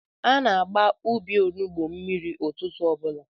Ana m agba ubi onugbo mmiri ụtụtụ obula